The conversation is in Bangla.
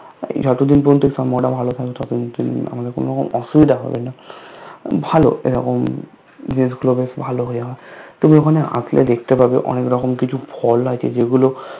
যতদিন পর্যন্ত সম্পর্কটা ভালো থাকবে ততদিন আমাদের কোনো রকম অসুবিধা হবে না ভালো এরকম জিনিসগুলো বেশ ভালো তুমি ওখানে আসলে দেখতে পাবে অনেক রকম কিছু ফল আছে যেগুলো